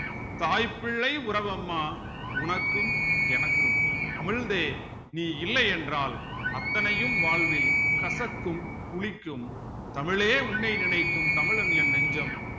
தாய் பிள்ளை உறவு அம்மா உனக்கும் எனக்கும் அமிழ்தே நீ இல்லை என்றால் அத்தனையும் வாழ்வில் கசக்கும் புளிக்கும் தமிழே உன்னை நினைக்கும் தமிழன் என் நெஞ்சம்